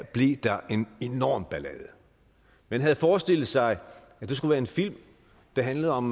blev der en enorm ballade man havde forestillet sig at det skulle være en film der handlede om